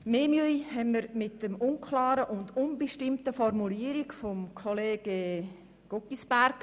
Mehr Mühe bereitet uns die unklare und unbestimmte Formulierung von Kollege Guggisberg.